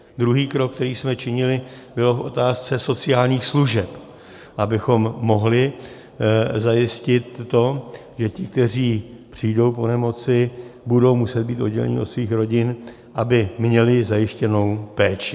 Druhý krok, které jsme činili, byl v otázce sociálních služeb, abychom mohli zajistit to, že, ti kteří přijdou po nemoci, budou muset být odděleni od svých rodin, aby měli zajištěnou péči.